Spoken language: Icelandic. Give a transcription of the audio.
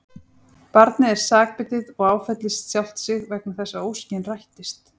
Barnið er sakbitið og áfellist sjálft sig vegna þess að óskin rættist.